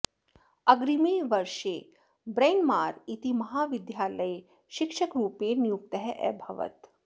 अग्रिमे वर्षे ब्रैन्मार् इति महाविद्यालये शिक्षकरूपेण नियुक्तः अभवत्